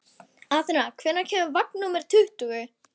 Atena, hvenær kemur vagn númer tuttugu?